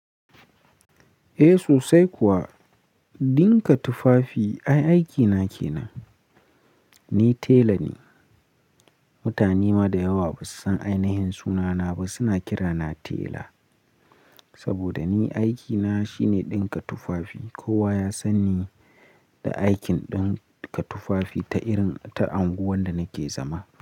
Eh sosai kuwa, dinka tufafi ai aikina ke nan. Ni tela ne. Mutane ma da yawa ba su san ainihin sunana ba, suna kira na tela. Saboda ni aikina shine dinka tufafi. Kowa ya san ni da aikin dinka tufafi ta irin ta anguwan da nake zama.